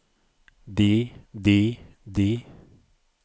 de de de